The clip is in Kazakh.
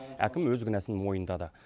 әкім өз кінәсін мойындады